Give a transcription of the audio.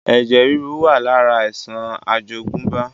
Ẹ̀jẹ̀ ríru wá lára àìsàn àjogúnbá